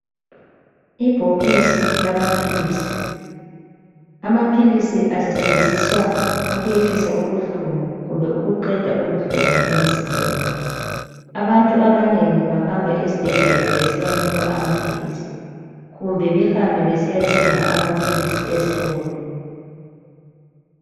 Ibhokisi lamaphilisi amaphilisi asetshenziswa ukwehlisa ubuhlungu kumbe ukuqeda ubuhlungu emzimbeni. Abantu abanengi bahamba esibhedlela besiyanikwa amaphilizi kumbe behambe besiyathenga amaphilizi ezitolo.